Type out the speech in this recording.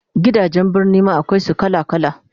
Gidajen Birni ma akwai su kala kala